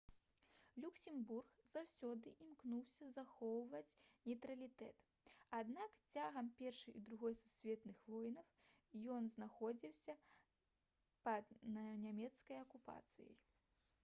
люксембург заўсёды імкнуўся захоўваць нейтралітэт аднак цягам першай і другой сусветных войнаў ён знаходзіўся пад нямецкай акупацыяй